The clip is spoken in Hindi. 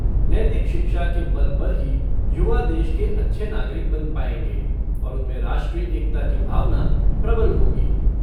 नैतिक शिक्षा के बल पर ही युवा देश के अच्छे नागरिक बन पाएगें और उनमें राष्ट्रीय एकता की भावना प्रबल होगी।